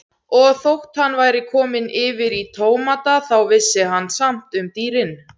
Og þótt hann væri kominn yfir í tómata þá vissi hann samt um dýrin.